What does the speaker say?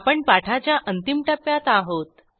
आपण पाठाच्या अंतिम टप्प्यात आहोत